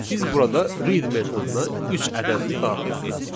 Biz burada read metoduna üç ədədini daxil etdik.